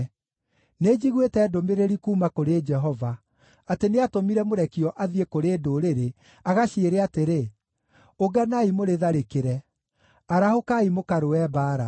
Nĩnjiguĩte ndũmĩrĩri kuuma kũrĩ Jehova: Atĩ nĩatũmire mũrekio athiĩ kũrĩ ndũrĩrĩ, agaciĩre atĩrĩ, “Ũnganai mũrĩtharĩkĩre! Arahũkai mũkarũe mbaara!”